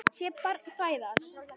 Sé barn fæðast.